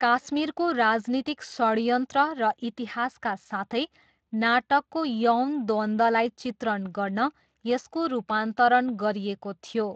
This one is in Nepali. काश्मीरको राजनीतिक षडयन्त्र र इतिहासका साथै नाटकको यौन द्वन्द्वलाई चित्रण गर्न यसको रूपान्तरण गरिएको थियो।